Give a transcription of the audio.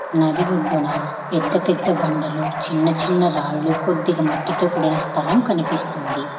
నది ఒడ్డున పెద్ద పెద్ద బండలు చిన్న చిన్న రాళ్ళు కొద్దిగా మట్టితో కూడిన స్థలం కనిపిస్తుంది.